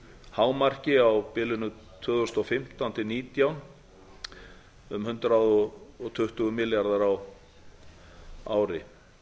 hámarki á bilinu tvö þúsund og fimmtán til tvö þúsund og nítján um hundrað tuttugu milljarðar á ári